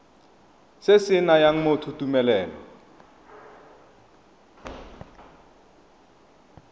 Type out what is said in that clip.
se se nayang motho tumelelo